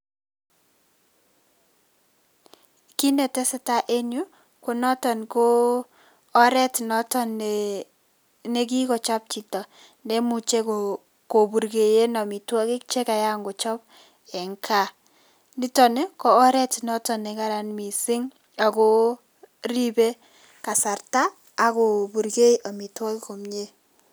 Kiit ne tesetai eng yu ko noto ko oret nekikochop chicto neimuche kopurkee amitwokik chekayan kochop eng gaa. Niton ko oret ne kararan mising ako ripei kasarta ako purkei amitwokik komnye.